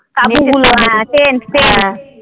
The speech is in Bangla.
হ্যাঁ tent tent